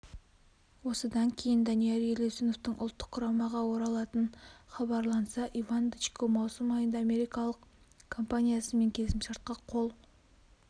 осыдан кейін данияр елеусіновтің ұлттық құрамаға оралатыны хабарланса иван дычко маусым айында америкалық компаниясымен келісімшартқа қол